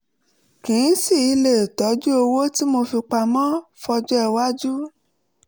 kí n sì lè tọjú owó tí mo fi pamọ́ fọ́jọ́-iwájú